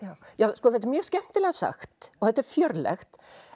sko þetta er mjög skemmtilega sagt og þetta er fjörlegt